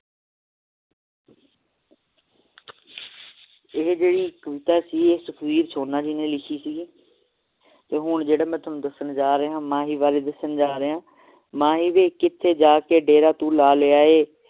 ਇਹ ਕਿਹੜੀ ਕਵਿਤਾ ਸੀ ਇਹ ਸੁਖਵੀਰ ਸੋਨਾ ਜੀ ਨੇ ਲਿਖੀ ਸੀ ਜੀ ਤੇ ਮੈਂ ਹੁਣ ਤੁਹਾਨੂੰ ਜੋ ਦਸਣ ਜਾ ਰਿਹਾ ਮਾਹੀ ਵਾਰੇ ਦਸਣ ਜਾ ਰਿਹਾ ਮਾਹੀ ਵੇ ਕਿਥੇ ਜਾ ਕੇ ਤੂੰ ਡੇਰਾ ਲੈ ਲਿਆ ਹੈ